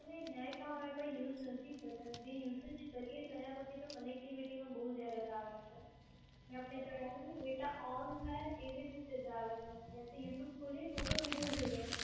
નહીં net on હોય તો use નથી થતાં, જે usage કરીએ તેના પછી તો connectivity માં બોવ error આવે છે. મે આપને જણાવ્યું કે data on થાય એવી જ રીતે આવે છે. youtube ખોલીએ કે video જોઈએ